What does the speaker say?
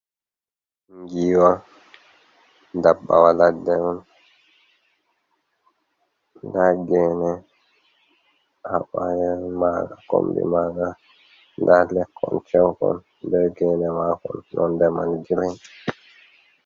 Ngiwa dabbawa ladde on. Nda gene abayan maga kombi maga, nda lekkon ceukon, nda gene makon nonde man girin.